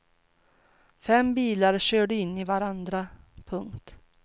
Fem bilar körde in i varandra. punkt